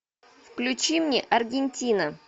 включи мне аргентина